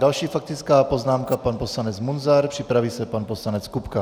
Další faktická poznámka - pan poslanec Munzar, připraví se pan poslanec Kupka.